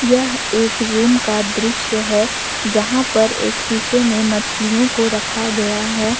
यह एक रूम का दृश्य है जहां पर एक शीशे में मछलियों को रखा गया है।